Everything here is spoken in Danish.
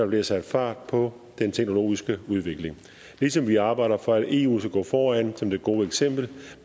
bliver sat fart på den teknologiske udvikling ligesom vi arbejder for at eu skal gå foran som det gode eksempel